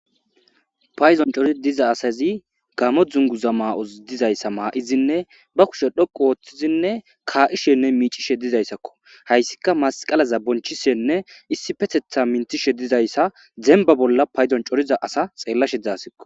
Payzon cori diza asazi gamo dzunguza maa'os dizayssa maa'izinne ba kushe dhoqu wooththizinne kaa'ishenne miicishe dizayssakko hayssika masqalaza bonchishenne issifetetha minthishe dizayssa zemba bolla payzon coriza asa xeellashe dzaasakko.